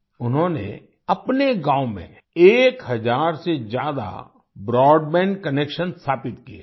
उन्होंने अपने गांव में एक हजार से ज्यादा ब्रॉडबैंड कनेक्शन स्थापित किए हैं